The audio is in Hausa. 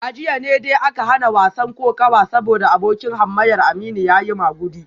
A jiya ne dai aka hana wasan kokawa saboda abokin hamayyar Aminu ya yi magudi